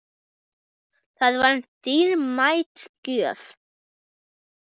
Það var dýrmæt gjöf.